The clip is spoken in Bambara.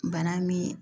Bana min